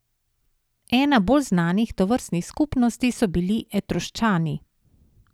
Ena bolj znanih tovrstnih skupnosti so bili Etruščani.